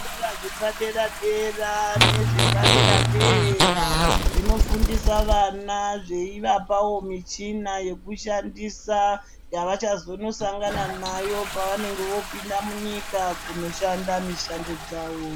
Zvikora zvepadera-dera nezvepadera-dera, zvinofundisa vana zveivapavo michina yekushandisa yavachazonosangana nayo pakunonga vopinda munyika kunoshanda mishando dzavo.